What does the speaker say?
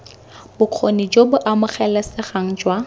bokgoni jo bo amogelesegang jwa